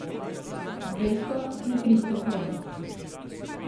Dvesto in tristo kron.